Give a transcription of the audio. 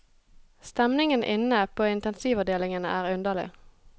Stemningen inne på intensivavdelingen er underlig.